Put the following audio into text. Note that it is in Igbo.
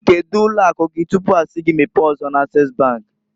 Kedu ụlọ akụ gi tupu a si gi mepee ọzọ na- Ases bank?